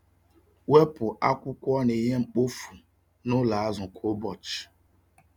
Wepụ akwụkwọ na ihe mkpofu n’ụlọ azụ kwa ụbọchị.